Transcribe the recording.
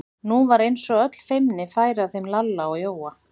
Nú var eins og öll feimni færi af þeim Lalla og Jóa.